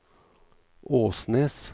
Åsnes